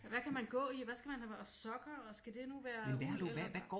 Ja hvad kan man gå i og hvad skal man og sokker og skal det nu være uld eller